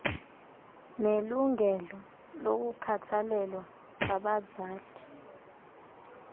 nelungelo lokukhathalelwa ngabazali